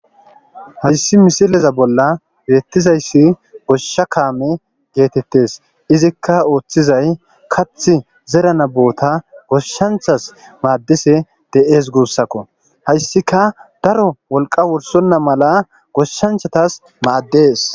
Hayssi misileza bolla beetizayssi goshsha kaame geetetees; izikka ooththizay kaaththi zerana boota goshshanchas maadishe de'es guussako; hayssika daro wolqa wursonna mala goshanchatas maades.